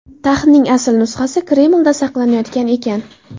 Taxtning asl nusxasi Kremlda saqlanayotgan ekan.